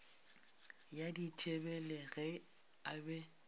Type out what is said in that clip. wa dithebele ge a be